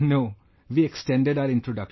No, we extended our introduction